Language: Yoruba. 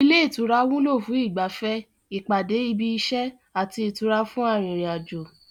Ilé ìtura wúlò fún ìgbafẹ́, ìpàdé ibi iṣẹ́, àti ìtura fún arin ìrìnàjò